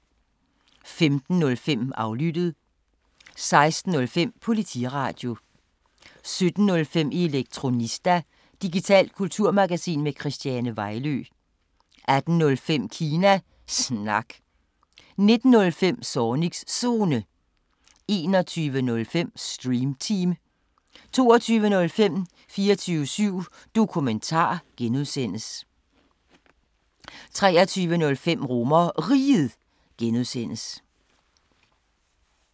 15:05: Aflyttet 16:05: Politiradio 17:05: Elektronista – digitalt kulturmagasin med Christiane Vejlø 18:05: Kina Snak 19:05: Zornigs Zone 21:05: Stream Team 22:05: 24syv Dokumentar (G) 23:05: RomerRiget (G)